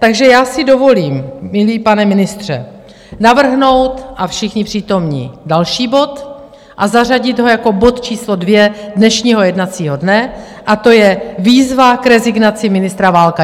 Takže já si dovolím, milý pane ministře, navrhnout - a všichni přítomní - další bod a zařadit ho jako bod číslo 2 dnešního jednacího dne, a to je Výzva k rezignaci ministra Válka.